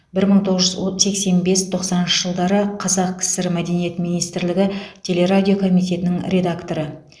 бір мың тоғыз жүз сексен бес тоқсаныншы жылдары қазақ кср мәдениет министрлігі телерадио комитетінің редакторы